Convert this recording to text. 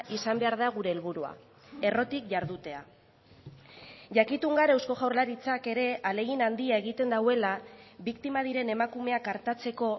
izan behar da gure helburua errotik jardutea jakitun gara eusko jaurlaritzak ere ahalegin handia egiten duela biktima diren emakumeak artatzeko